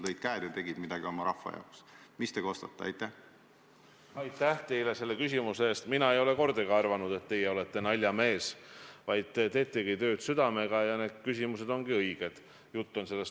Kui te küsite, kas ekstra võiks teha siia mingi sellise rohelise koridori või kiirtee selle tunneli investeeringute raames, siis ma arvan, et peaks küll tegema seda, et tuleks vaadata korra üle, mis seisus need analüüsid on, ning seda tööd forsseerida.